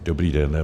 Dobrý den.